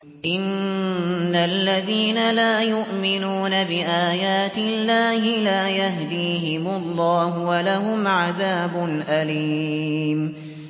إِنَّ الَّذِينَ لَا يُؤْمِنُونَ بِآيَاتِ اللَّهِ لَا يَهْدِيهِمُ اللَّهُ وَلَهُمْ عَذَابٌ أَلِيمٌ